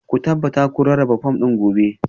Ku tabbata kun rarraba fom ɗin gobe